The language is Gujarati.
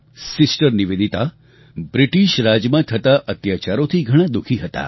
સિસ્ટર નિવેદિતા બ્રિટિશ રાજમાં થતા અત્યાચારોથી ઘણા દુઃખી હતા